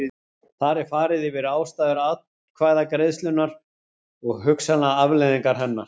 Þar er farið yfir ástæður atkvæðagreiðslunnar og hugsanlegar afleiðingar hennar.